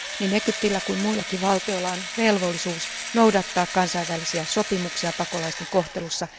Niin Egyptillä kuin muillakin valtioilla on velvollisuus noudattaa kansainvälisiä sopimuksia pakolaisten kohtelussa.